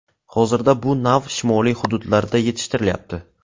Hozirda bu nav shimoliy hududlarda yetishtirilyapti.